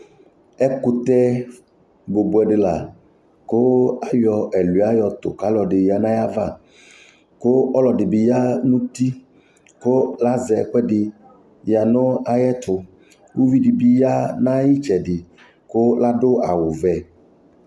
Ɛkʋtɛ bʋbʋɛ dɩ la kʋ ayɔ ɛlʋɩa yɔtʋ kʋ ɔlɔdɩ ya nʋ ayava Kʋ ɔlɔdɩ bɩ ya nʋ uti kʋ azɛ ɛkʋɛdɩ ya nʋ ayɛtʋ Uvi dɩ bɩ ya nʋ ayʋ ɩtsɛdɩ kʋ adʋ awʋwɛ